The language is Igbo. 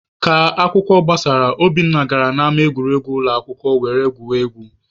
Ka akwụkwọ gbasara, Obinna gara n'ama egwuregwu ụlọakwụkwọ were gwuribe egwu.